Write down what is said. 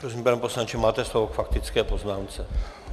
Prosím, pane poslanče, máte slovo k faktické poznámce.